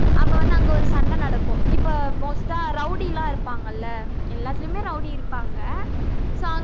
அப்ப வந்து அங்க ஒரு சண்டை நடக்கும் இப்ப most ஆ rowdy லாம் இருப்பாங்கல்ல எல்லாத்துலயுமே rowdy இருப்பாங்க so